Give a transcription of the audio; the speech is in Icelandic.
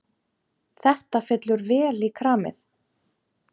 Þetta fellur vel í kramið.